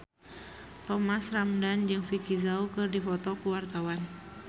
Thomas Ramdhan jeung Vicki Zao keur dipoto ku wartawan